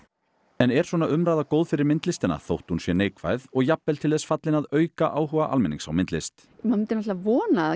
en er svona umræða góð fyrir myndlistina jafnvel þótt hún sé neikvæð og jafnvel til þess fallin að auka áhuga almennings á myndlist maður myndi vona að